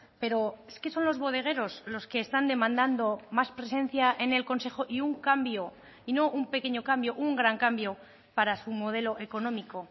pero es que son los bodegueros los que están demandando más presencia en el consejo y un cambio y no un pequeño cambio un gran cambio para su modelo económico